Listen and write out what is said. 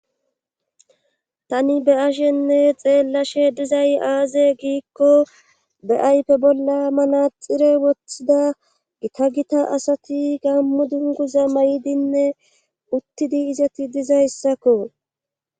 Tani be ashenne xeellashe dizay aaze giikko be7aype bolla manaxire woththida gika gita asati gammu dunguza may7dinne uttidi izati dizayssakko